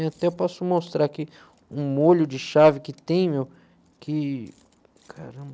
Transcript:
Até posso mostrar aqui um molho de chave que tem, meu, que... Caramba...